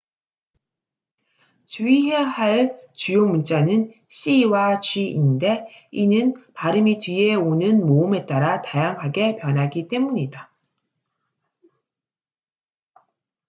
주의해야 할 주요 문자는 c와 g인데 이는 발음이 뒤에 오는 모음에 따라 다양하게 변하기 때문이다